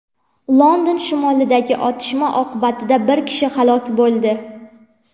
London shimolidagi otishma oqibatida bir kishi halok bo‘ldi.